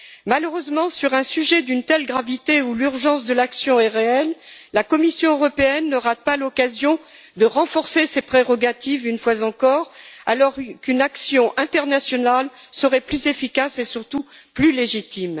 Malheureusement, sur un sujet d'une telle gravité, où l'urgence de l'action est réelle, la Commission européenne ne rate pas l'occasion de renforcer ses prérogatives, une fois encore, alors qu'une action internationale serait plus efficace et surtout plus légitime.